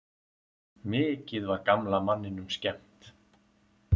Mikið var gamla manninum skemmt.